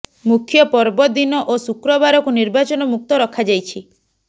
ମୁଖ୍ୟ ପର୍ବ ଦିନ ଓ ଶୁକ୍ରବାରକୁ ନିର୍ବାଚନ ମୁକ୍ତ ରଖାଯାଇଛି